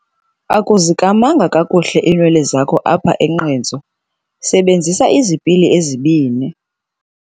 Akuzikamanga kakuhle iinwele zakho apho enqentsu, sebenzisa izipili ezibini.